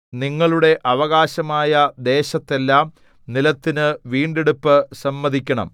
നിങ്ങളുടെ അവകാശമായ ദേശത്തെല്ലാം നിലത്തിനു വീണ്ടെടുപ്പ് സമ്മതിക്കണം